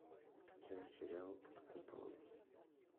скачай сериал под куполом